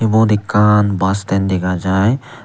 ubot ekkan bus stand dega jai.